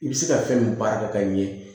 I bɛ se ka fɛn min baara kɛ ka ɲɛ